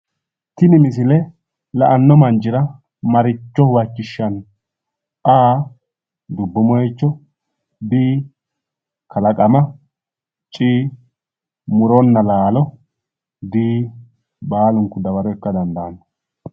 Tini misile la'anno manchira maricho huwachishshanno? A/dubbu moicho B/kalaqama C/muronna laalo D/baalunku dawaro ikka dandaanno